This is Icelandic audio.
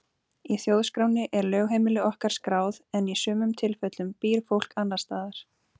Í þjóðskránni er lögheimili okkar skráð en í sumum tilfellum býr fólk annars staðar.